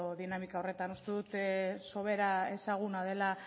dinamika horretan uste dut sobera ezaguna dela